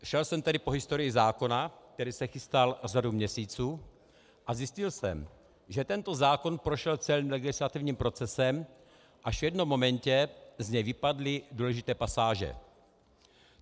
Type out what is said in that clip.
Šel jsem tedy po historii zákona, který se chystal řadu měsíců, a zjistil jsem, že tento zákon prošel celým legislativním procesem, až v jednom momentě z něj vypadly důležité pasáže.